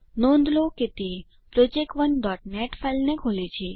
નોંધ લો કે તે project1નેટ ફાઈલને ખોલે છે